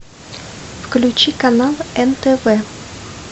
включи канал нтв